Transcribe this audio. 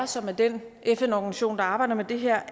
som er den fn organisation der arbejder med det her